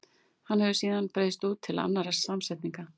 Hann hefur síðan breiðst út til annarra samsetninga.